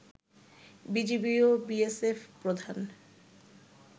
BGB ও BSF প্রধান